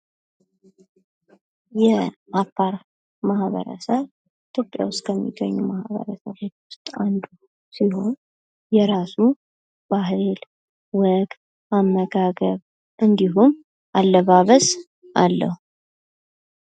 የአፋር ማህበረሰብ ኢትዮጵያ ውስጥ ከሚገኙ ማህበረሰቦች ውስጥ አንዱ ሲሆን የራሱ ባህል፣ ወግ፣ አመጋገብ እንዲሁም አለባበስ አለው።